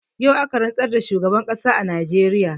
Yau aka rantsar da shugaban ƙasar najeriya